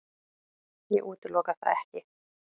Ég útiloka það ekki.